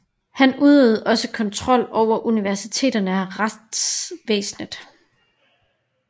Han udøvede også kontrol over universiteterne og retsvæsenet